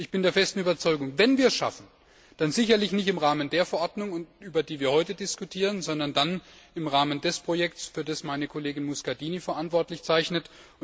Ich bin der festen Überzeugung, wenn wir es schaffen, dann sicherlich nicht im Rahmen der Verordnung, über die wir heute diskutieren, sondern dann im Rahmen des Projekts, für das meine Kollegin Muscardini verantwortlich zeichnet.